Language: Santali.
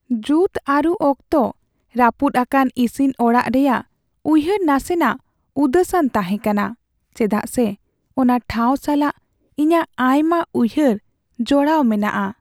ᱡᱩᱛ ᱟᱨᱩ ᱚᱠᱛᱚ ᱨᱟᱹᱯᱩᱫ ᱟᱠᱟᱱ ᱤᱥᱤᱱ ᱚᱲᱟᱜ ᱨᱮᱭᱟᱜ ᱩᱭᱦᱟᱹᱨ ᱱᱟᱥᱮᱱᱟᱜ ᱩᱫᱟᱹᱥ ᱟᱱ ᱛᱟᱦᱮᱸᱠᱟᱱᱟ, ᱪᱮᱫᱟᱜ ᱥᱮ ᱚᱱᱟ ᱴᱷᱟᱶ ᱥᱟᱞᱟᱜ ᱤᱧᱟᱹᱜ ᱟᱭᱢᱟ ᱩᱭᱦᱟᱹᱨ ᱡᱚᱲᱟᱣ ᱢᱮᱱᱟᱜᱼᱟ ᱾